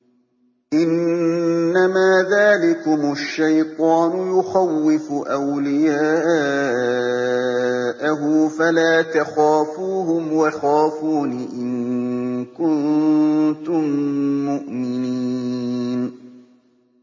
إِنَّمَا ذَٰلِكُمُ الشَّيْطَانُ يُخَوِّفُ أَوْلِيَاءَهُ فَلَا تَخَافُوهُمْ وَخَافُونِ إِن كُنتُم مُّؤْمِنِينَ